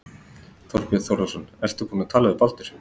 Þorbjörn Þórðarson: Ertu búinn að tala við Baldur?